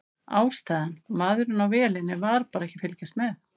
Ástæðan: Maðurinn á vélinni var bara ekki að fylgjast með.